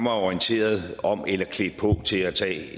orienteret om eller klædt på til at tage